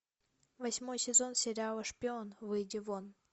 восьмой сезон сериала шпион выйди вон